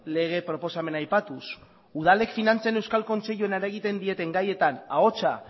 lege proposamena aipatuz udalek finantzen euskal kontseiluan eragiten dieten gaietan ahotsa